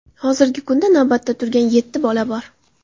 Hozirgi kunda navbatda turgan yetti bola bor.